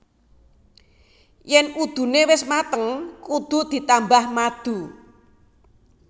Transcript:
Yén udune wis mateng kudu ditambah madu